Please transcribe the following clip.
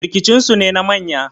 rikicinsu ne na manya